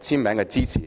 簽名支持。